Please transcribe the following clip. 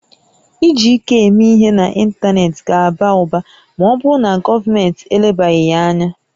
Iji ike eme ihe n'ịntanetị ga-aba ụba ma ọ bụrụ na gọọmentị elebaghị ya anya